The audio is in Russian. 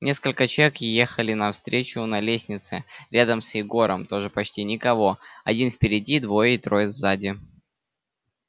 несколько человек ехали навстречу на лестнице рядом с егором тоже почти никого один впереди двое или трое сзади